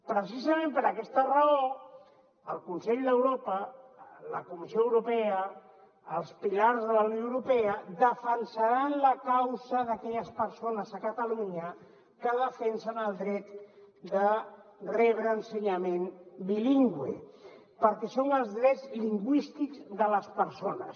precisament per aquesta raó el consell d’europa la comissió europea els pilars de la unió europea defensaran la causa d’aquelles persones a catalunya que defensen el dret de rebre ensenyament bilingüe perquè són els drets lingüístics de les persones